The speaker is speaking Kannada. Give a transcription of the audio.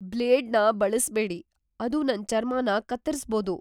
ಬ್ಲೇಡ್‌ನ ಬಳಸ್ಬೇಡಿ. ಅದು ನನ್ ಚರ್ಮನ ಕತ್ತರಿಸ್ಬೋದು.